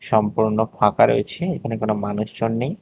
সম্পূর্ণ ফাঁকা রয়েছে এখানে কোন মানুষজন নেই।